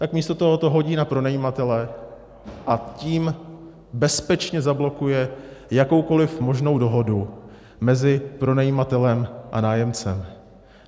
Tak místo toho to hodí na pronajímatele, a tím bezpečně zablokuje jakoukoliv možnou dohodu mezi pronajímatelem a nájemcem.